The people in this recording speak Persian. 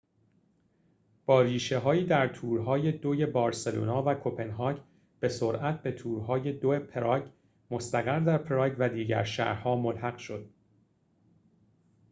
با ریشه‌هایی در تور‌های دوی بارسلونا و کپنهاگ به سرعت به تور‌های دوی پراگ مستقر در پراگ و دیگر شهر‌ها ملحق شد